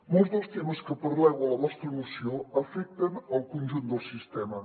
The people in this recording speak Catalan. molts dels temes que parleu a la vostra moció afecten el conjunt del sistema